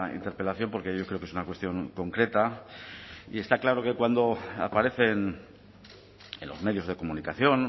interpelación porque yo creo que es una cuestión concreta y está claro que cuando aparecen en los medios de comunicación